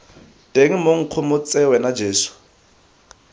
teng moeng nkgomotse wena jeso